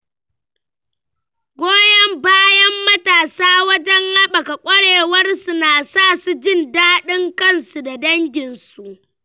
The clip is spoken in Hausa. Goyon bayan matasa wajen haɓaka ƙwarewarsu na sa su jin daɗin kansu da danginsu.